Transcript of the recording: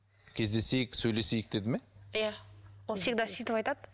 кездесейік сөйлесейік деді ме иә ол всегда сөйтіп айтады